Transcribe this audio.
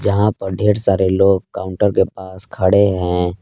यहां पर ढेर सारे लोग काउंटर के पास खड़े हैं।